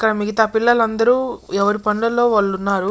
ఇక్కడ మిగితా పిల్లలందరూ ఎవరి పనులలో వాళ్ళు ఉన్నారు.